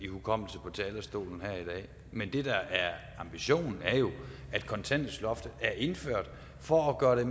hukommelse på talerstolen her i dag men det der er sagen er jo at kontanthjælpsloftet er indført for at gøre det